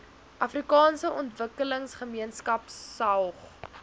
afrikaanse ontwikkelingsgemeenskap saog